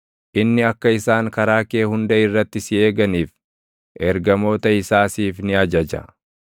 Inni akka isaan karaa kee hunda irratti si eeganiif, ergamoota isaa siif ni ajaja;